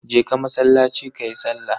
Je ka masallaci kayi sallah.